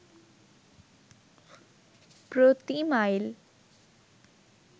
প্রতি মাইল